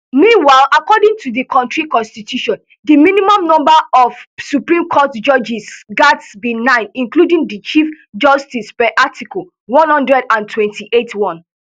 meanwhile according to di kontri constitution di minimum number of supreme court judges gatz be nine including di chief justice per article one hundred and twenty-eight one